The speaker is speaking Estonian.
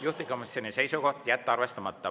Juhtivkomisjoni seisukoht on jätta see arvestamata.